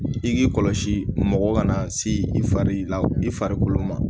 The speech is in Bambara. I k'i kɔlɔsi mɔgɔ kana se i fari la i farikolo ma